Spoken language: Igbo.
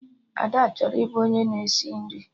Ada chọrọ ịbụ onye na-esi nri